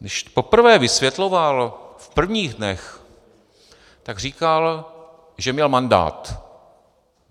Když poprvé vysvětloval, v prvních dnech, tak říkal, že měl mandát.